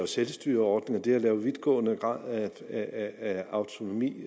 selvstyreordning og det at lave en vidtgående grad af autonomi